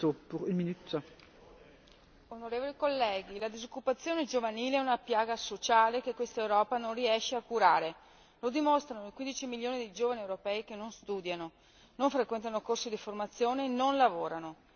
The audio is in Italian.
Signora Presidente, onorevoli colleghi, la disoccupazione giovanile è una piaga sociale che quest'Europa non riesce a curare lo dimostrano i 15 milioni di giovani europei che non studiano, non frequentano corsi di formazione e non lavorano.